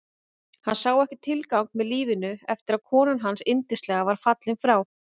Hann sá ekki tilgang með lífinu eftir að konan hans yndislega var fallin frá.